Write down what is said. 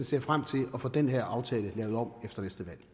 ser frem til at få den her aftale lavet om efter